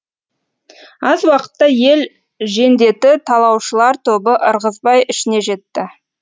аз уақытта ел жендеті талаушылар тобы ырғызбай ішіне жетті